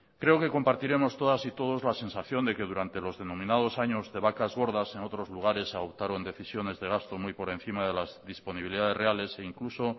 creo que compartiremos todas y todos la sensación de que durante los denominados años de vacas gordas en otros lugares adoptaron decisiones de gasto muy por encima de las disponibilidades reales e incluso